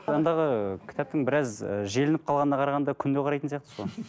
кітаптың біраз і желініп қалғанына қарағанда күнде қарайтын сияқтысыз ғой